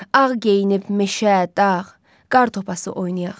Ağ geyinib meşə, dağ, qartopası oynayaq.